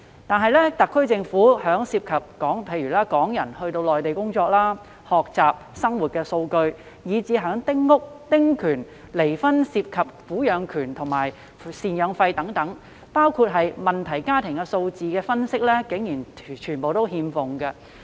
然而，特區政府對於涉及港人到內地工作、學習及生活的數據，以至丁屋及丁權，或離婚涉及的撫養權與贍養費、問題家庭的數字分析，竟然全部欠奉。